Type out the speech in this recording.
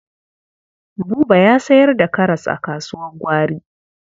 Buba ya sayar da karas a kasuwar gwari.